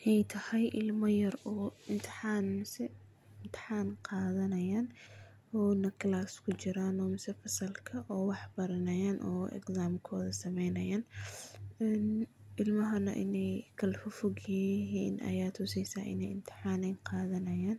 Inay tahay ilmo yar oo imtihan mise imtihan qadanayo, ona class kujiran mise fasalka oo wax baranayan, oo exam koda sameynayan, een ilmahana inay kalafogfogyixii aya tusaysa inay ilmaha imtihan ay gadanayan,